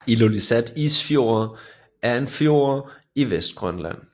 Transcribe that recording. Ilulissat Isfjord er en fjord i Vestgrønland